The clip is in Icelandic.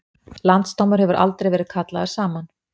Landsdómur hefur aldrei verið kallaður saman